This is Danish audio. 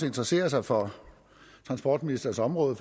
interesserer sig for transportministerens område